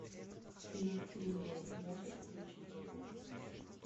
фильм тримей можешь включить